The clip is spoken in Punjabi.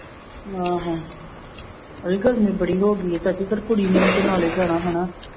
ਆਹੋ ਅਸੀਂ ਕਿਹਾ ਨਿਬੜੀ ਹੋ ਗਈ ਹੈ ਚਾਚੀ ਫਿਰ ਕੁੜੀ ਨੇ ਵੀ ਤੇ ਨਾਲੇ ਜਾਣਾ ਹਨਾ।